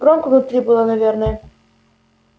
громко внутри было наверное